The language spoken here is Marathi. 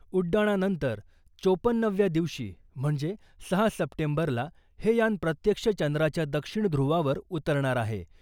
उड्डाणानंतर चोपन्नाव्या दिवशी म्हणजे सहा सप्टेंबरला हे यान प्रत्यक्ष चंद्राच्या दक्षिण ध्रुवावर उतरणार आहे.